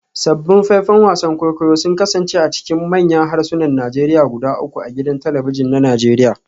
Sabbin faifan wasan kwaikwayo sun kasance a cikin manyan harsunan Najeriya guda uku a gidan talabijin na Najeriya